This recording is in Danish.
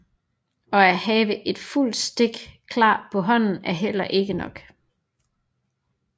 Og at have et fuldt stik klar på hånden er heller ikke nok